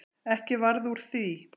Ekki varð úr því.